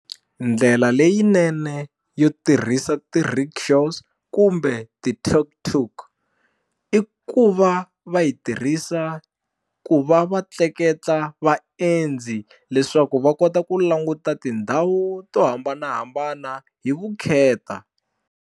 Ndlela leyinene yo tirhisa ti-rickshaws kumbe ti-tuk-tuk i ku va va yi tirhisa ku va va tleketla vaendzi leswaku va kota ku languta tindhawu to hambanahambana hi vukheta.